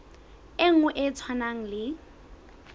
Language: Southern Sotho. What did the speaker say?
e nngwe e tshwanang le